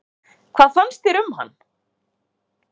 Hvað fannst þér um hann?